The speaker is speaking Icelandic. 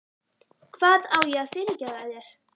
Hvað á ég að fyrirgefa þér?